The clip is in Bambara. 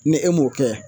Ni e m'o kɛ